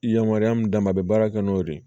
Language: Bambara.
I yamaruya min d'a ma a bɛ baara kɛ n'o de ye